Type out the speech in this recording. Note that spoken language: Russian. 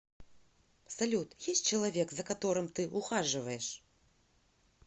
салют есть человек за которым ты ухаживаешь